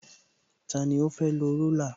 Tani ó fẹ́ lọ rúlà?